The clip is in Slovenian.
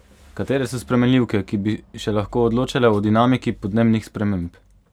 Katere so spremenljivke, ki bi še lahko odločale o dinamiki podnebnih sprememb?